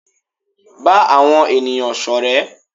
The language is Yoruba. Ba àwọn ènìyàn sọrẹ.